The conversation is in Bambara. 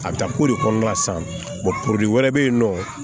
A bɛ taa ko de kɔnɔna sa puruke wɛrɛ bɛ yen nɔ